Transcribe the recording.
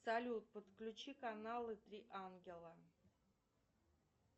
салют подключи каналы три ангела